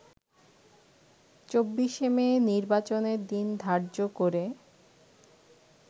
২৪ মে নির্বাচনের দিন ধার্য করে